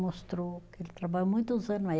Mostrou que ele trabalhou muitos ano aí.